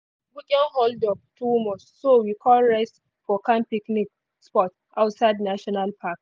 weekend holdup too much so we con rest for calm picnic spot outside national park.